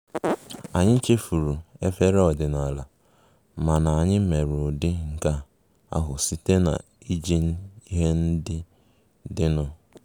Anyị chefuru efere ọdịnala, mana anyị mere ụdị nke ahụ site na iji ihe ndị dịnụ